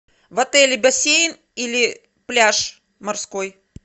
в отеле бассейн или пляж морской